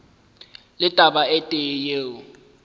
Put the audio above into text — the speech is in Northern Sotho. le taba e tee yeo